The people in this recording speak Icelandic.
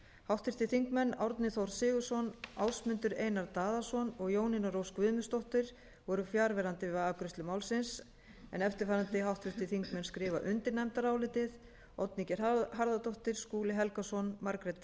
háttvirtir þingmenn árni þór sigurðsson ásmundur einar daðason og jónína rós guðmundsdóttir voru fjarverandi við afgreiðslu málsins eftirfarandi háttvirtir þingmenn skrifa undir nefndarálitið oddný g harðardóttir skúli helgason margrét